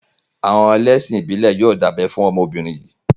Àwọn ẹlẹ́sìn ìbílẹ̀ yóò dá ẹ fún ọmọbìnrin yìí.